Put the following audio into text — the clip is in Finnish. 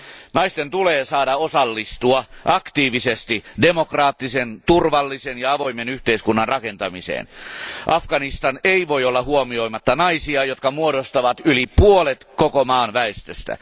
Naisten tulee saada osallistua aktiivisesti demokraattisen, turvallisen ja avoimen yhteiskunnan rakentamiseen. Afganistan ei voi olla huomioimatta naisia, jotka muodostavat yli puolet koko maan väestöstä.